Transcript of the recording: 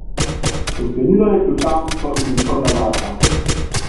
Odklenila je ključavnico in odprla vrata.